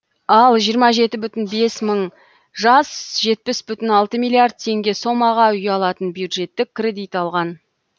ал жиырма жеті бүтін бес мың жас жетпіс бүтін алты миллиард теңге сомаға үй алатын бюджеттік кредит алған